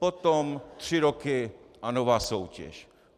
Potom tři roky a nová soutěž.